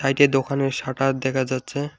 এইটা দোকানের সাটার দেখা যাচ্ছে।